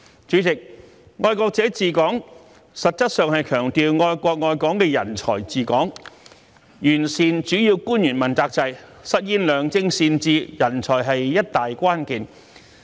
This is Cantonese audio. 主席，"愛國者治港"實質上強調愛國愛港的人才治港，完善主要官員問責制，實現良政善治，人才是一大關鍵。